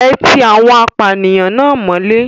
Ẹ ti awon apànìyàn náà mọ́lé.